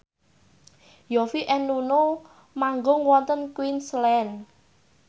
Yovie and Nuno manggung wonten Queensland